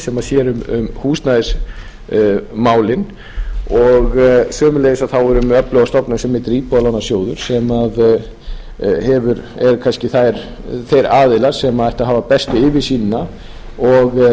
sem sér um húsnæðismálin og sömuleiðis erum við með öfluga stofnun sem heitir íbúðalánasjóður sem eru kannski þeir aðilar sem ættu að hafa bestu yfirsýnina og